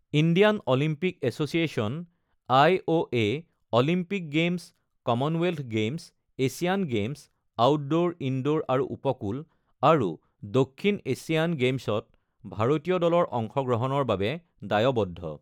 Indian Olympic association (IOA.) Olympic games, Commonwealth games, Asian games (outdoor, indoor আৰু উপকূল) আৰু দক্ষিণ এছিয়ান গেমছত ভাৰতীয় দলৰ অংশগ্ৰহণৰ বাবে দায়বদ্ধ।